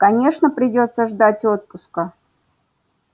конечно придётся ждать отпуска